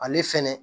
Ale fɛnɛ